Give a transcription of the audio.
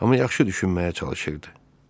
Amma yaxşı düşünməyə çalışırdı.